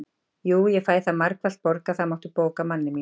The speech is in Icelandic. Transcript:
Jú, ég fæ það margfalt borgað, það máttu bóka, manni minn